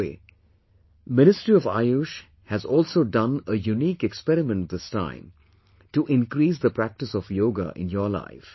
By the way, the Ministry of AYUSH has also done a unique experiment this time to increase the practice of yoga in your life